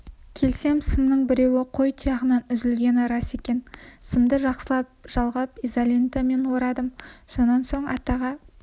келсем сымның біреуі қой тұяғынан үзілгені рас екен сымды жақсылап жалғап изолентамен орадым сонан соң атаға